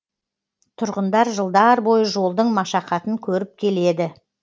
тұрғындар жылдар бойы жолдың машақатын көріп келеді